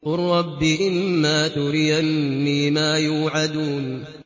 قُل رَّبِّ إِمَّا تُرِيَنِّي مَا يُوعَدُونَ